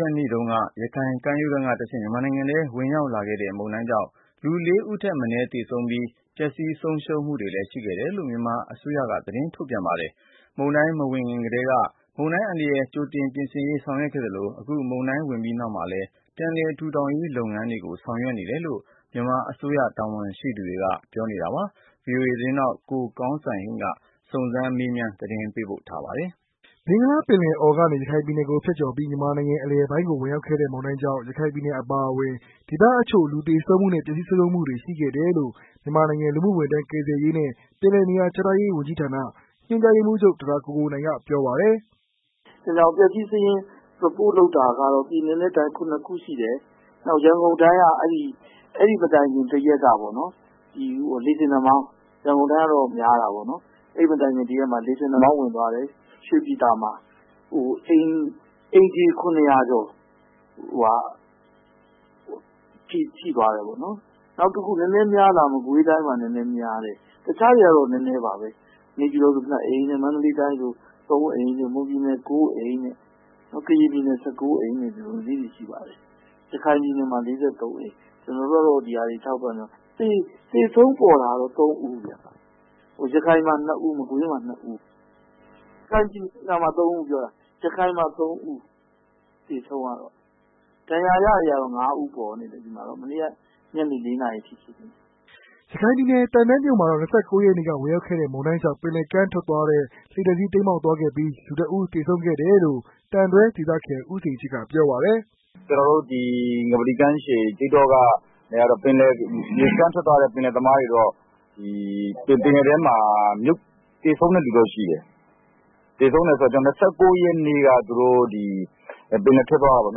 ရက်နေ့တုန်းက ရခိုင်ကမ်းရိုးတန်းကနေတဆင့် မြန်မာနိုင်ငံထဲ ဝင်ရောက်လာခဲ့တဲ့ မုန်တိုင်းကြောင့် လူ လေးဦးထက်မနည်း သေဆုံးပြီး ပျက်စီးဆုံးရှုံးမှုတွေလည်း ရှိခဲ့တယ်လို့ မြန်မာအစိုးရက ထုတ်ပြန်ပါတယ်။ မုန်တိုင်းမဝင်ခင်ကတည်းက မုန်တိုင်းအန္တရာယ်ကြိုတင်ပြင်ဆင်ရေးဆောင်ရွက်နေသလို၊ အခု မုန်တိုင်းဝင်ပြီးနောက်မှာလည်း ပြန်လည်ထူထောင်ရေးလုပ်ငန်းတွေကို ဆောင်ရွက်ပေးနေတယ်လို့ မြန်မာအစိုးရတာဝန်ရှိသူတွေက ပြောပါတယ်။ ဗွီအိုအေ သတင်ေးထာက် ကိုကောင်းစံဟိန်း စုံစမ်းမေးမြန်းသတင်းပေးပို့ထားပါတယ်။ ဘင်္ဂလားပင်လယ်အော်ကနေ ရခိုင်ပြည်နယ်ကို ဖြတ်ကျော်ကာ မြန်မာနိုင်ငံအလယ်ပိုင်းကို ဝင်ရောက်ခဲ့တဲ့ မုန်တိုင်းကြောင့် ရခိုင်ပြည်နယ်အပါအဝင် ဒေသအချို့ လူသေဆုံးမှု နဲ့ ပျက်စီးဆုံးရှုံးမှုတွေ ရှိခဲ့တယ်လို့ မြန်မာနိုင်ငံ လူမှုဝန်ထမ်း၊ကယ်ဆယ်ရေးနဲ့ ပြန်လည်နေရာချထားရေး ဝန်ကြီးဌာန ညွှန်ကြားရေးမှူးချုပ် ဒေါက်တာကိုကိုနိုင် ကပြောပါတယ်။ "ပျက်စီးစာရင်း Report လုပ်တာကတော့ ပြည်နယ်နဲ့တိုင်း ၇ခုရှိတယ်။အဲဒီမတိုင်ခင် တရက်ကတော့ လေဆင်နှာမောင်း ဝင်သွားတယ် ရွှေပြည်သာမှာ၊အိမ်ခြေ၇၀၀ကျော် ထိသွားတယ်ပေါ့နော်၊နောက်တခု များတာတွေက မကွေးတိုင်းမှာ နည်းနည်းများတယ်၊တခြားတွေတော့နည်းနည်းပါပဲ ။ နေပြည်တော်မှာ ၂ အိမ်၊ မန္တလေးတိုင်းဆိုရင် ၃ အိမ်၊ မွန်ပြည်နယ် ၉ အိမ်၊ ကရင်ပြည်နယ် ၁၉ အိမ် ရခိုင်ပြည်နယ်မှတော့ ၄၃ အိမ် ။ ကျနော်တို့ သေဆုံးတွေက ၄ဦးဗျ၊ ရခိုင်မှာ ၃ ဦး သေဆုံးတယ်။ ဒဏ်ရာရတွေကတော့ ၅ ဦးပေါ်နေတယ် မနေ့ကညနေအထိ" ရခိုင်ပြည်နယ် သံတွမြို့နယ်မှာတော့ ၂၉ရက်နေ့က ဝင်ရောက်တဲ့ မုန်တိုင်းကြောင့် ပင်လယ်ကမ်းထွက်သွားတဲ့ လှေတစ်စီးတိမ်းမှောက် သွားခဲ့ပြီး လူတစ်ဦးသေဆုံးခဲ့တယ်လို့ သံတွဲဒေသခံ ဦးစိန်ချစ်ကပြောပါတယ်။ "ဒီငပလီကမ်းခြေ မြစ်ကမ်းထွက်သွားတဲ့ ပင်လယ်သမားတွေတော့ ဒီပင်လယ်ထဲမှာ သေဆုံးတဲ့လူတော့ရှိတယ်။သူတို့ ၂၈ရက်နေ့က ပင်လယ်ထွက်သွားတာပေါ့။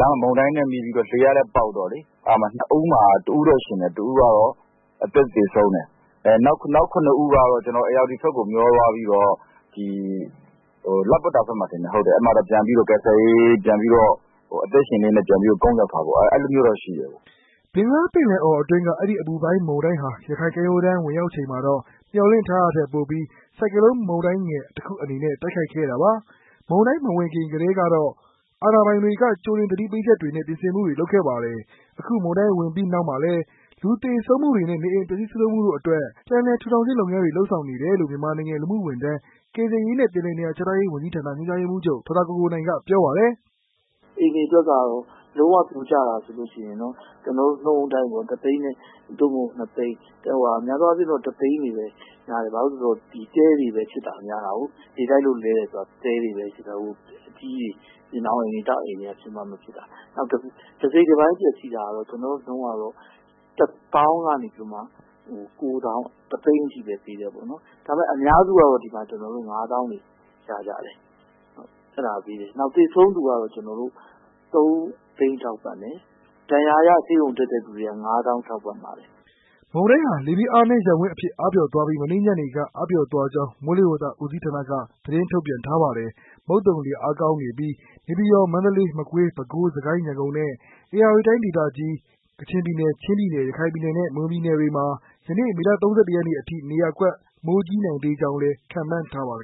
လမ်းမှာ မုန်တိုင်းနဲ့ မိပြီးတော့ လေလည်းပေါက်တော့ ၂ဦးမှာ ၁ဦးတော့ အသက်ရှင်တယ်။ နောက် ၇ ဦးကတော့ ဧရာဝတီဘက်ကို မျောသွားပြီး လပ္ပတ္တာဘက်မှာထင်တယ် အဲဒီမှာတော့ ကယ်ဆယ်ရေးပြန်လုပ်တာပေါ့ အဲဒါမျိုးတော့ရှိတယ်။ " ဘင်္ဂလားပင်လယ်အော်အတွင်းက အဲဒီ အပူပိုင်းမုန်တိုင်းဟာ ရခိုင်ကမ်းရိုးတန်းဝင်ရောက်ချိန်မှာတာ့ မျှော်လင့်ထားတာထက်ပိုပြီး ဆိုက်ကလုံးမုန်တိုင်းငယ်တခုအနေနဲ့ တိုက်ခိုက်ခဲ့တာပါ။ မုန်တိုင်းမဝင်ခင်ကတည်းကတော့ အာဏာပိုင်တွေက ကြိုတင်သတိပေးချက်တွေနဲ ပြင်ဆင်မှုတွေ လုပ်ခဲ့ပါတယ်။ အခု မုန်တိုင်းဝင်ပြီးနောက်မျာလည်း လူသေဆုံးမှုတွေနဲ့ နေအိမ်ပျက်စီးဆုံးရှုံးမှုတို့အတွက် ပြန်လည်ထူထောင်ခြင်းလုပ်ဆောင်နေတယ်လို့ မြန်မာနိုင်ငံ လူမှုဝန်ထမ်း၊ကယ်ဆယ်ရေးနဲ့ ပြန်လည်နေရာချထားရေး ဝန်ကြီးဌာန ညွှန်ကြားရေးမှူးချုပ် ဒေါက်တာကိုကိုနိုင် ကပြောပါတယ်။ "အိမ်တွေအတွက်ကတော့ လုံးဝပြိုကျတာဆိုရင် ကျနော်တို့ ၁ သိန်း ဒါမှမဟုတ် ၂ သိန်း ။ များသောအားဖြင့်တော့ ၁ သိန်းတွေပဲ များတယ်။ ဘာကြောင့်လဲဆိုတော့ တဲတွေပဲဖြစ်တာများတာကို လေတိုက်လို့လဲတယ်ဆိုတာက။ တဲတွေပဲ တခြားအိမ်တွေကတော့ ဖြစ်မှမဖြစ်တာ။ နောက်တစိတ်တပိုင်းပျက်စီးတာကတော့ ကျနော်တို့ နှုန်းကတော့ ၁ သောင်းကနေပြီးတော့မှ ၉ သောင်း ၁ သိန်းအထိ ပေးတယ်ပေါ့နော် ဒါပေမယ့် အများစုကတော့ ဒီမှာ ၅ သောင်းတွေရကြတယ်။ နောက် သေဆုံးသူတွေကိုတော့ ၃ သိန်းထောက်ပံ့တယ်။ ဒဏ်ရာရဆေးရုံတက်တဲ့လူတွေကိုတော့ ၅ သောင်းထောက်ပံ့တယ်။ " မုန်တိုင်းဟာ လေဖိအားနည်းရပ်ဝန်းအဖြစ် အားပျော့သွားပီး မနေ့ကညနေက အားပျော့သွားကြောင်း မိုးလေဝသဦးစီးဌာနက သတင်းထုတ်ပြန်ထားပါတယ်။ မုတ်သုံလေ အားကောင်းနေပြီး နေပြည်တော်၊ မန္တလေး၊ မကွေး၊ ပဲခူး၊ စစ်ကိုင်း၊ ရန်ကုန် နှင့် ဧရာဝတီတိုင်းဒေသကြီး၊ရခိုင်၊ ကချင်၊ ချင်းနှင့် မွန်ပြည်နယ်တို့တွင် ယနေ့(မေလ ၃၁ ရက်)အထိ နေရာကွက် မိုးကြီးနိုင်သေးကြောင်းလည်း ခန့်မှန်းထားပါတယ်